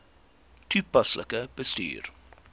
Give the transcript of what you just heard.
toepaslik bestuur